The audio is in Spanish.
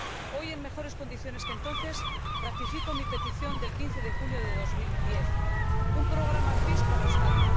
Hoy, en mejores condiciones que entonces, ratifico mi petición del 15 de junio de 2010 de un programa PEACE para Euskadi.